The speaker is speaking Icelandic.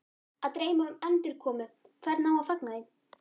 Að dreyma um endurkomu, hvernig á að fagna því?